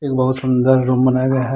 एक बहुत सुंदर रूम बनाया गया है।